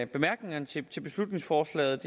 bemærkningerne til beslutningsforslaget